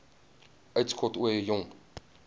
uitskot ooie jong